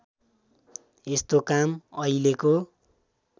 यस्तो काम अहिलेको